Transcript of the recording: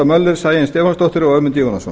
möller sæunn stefánsdóttir og ögmundur jónasson